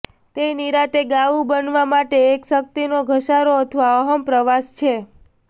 તે નિરાંતે ગાવું બનવા માટે એક શક્તિનો ધસારો અથવા અહમ પ્રવાસ છે